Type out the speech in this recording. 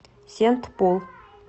сент пол